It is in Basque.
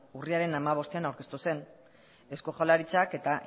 urriaren hamabostean aurkeztu zen eusko jaurlaritza eta